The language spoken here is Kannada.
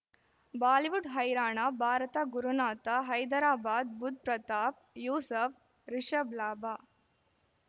ಬಾಲಿವುಡ್ ಹೈರಾಣ ಭಾರತ ಗುರುನಾಥ ಹೈದರಾಬಾದ್ ಬುಧ್ ಪ್ರತಾಪ್ ಯೂಸಫ್ ರಿಷಬ್ ಲಾಭ